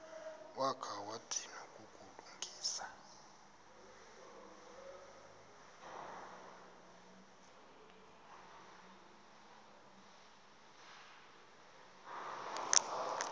wakha wadinwa kukulungisa